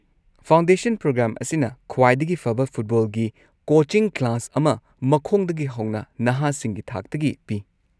Foundation program ꯑꯁꯤꯅ ꯈ꯭ꯋꯥꯏꯗꯒꯤ ꯐꯕ ꯐꯨꯠꯕꯣꯜꯒꯤ ꯀꯣꯆꯤꯡ ꯀ꯭ꯂꯥꯁ ꯑꯃ ꯃꯈꯣꯡꯗꯒꯤ ꯍꯧꯅ ꯅꯍꯥꯁꯤꯡꯒꯤ ꯊꯥꯛꯇꯒꯤ ꯄꯤ꯫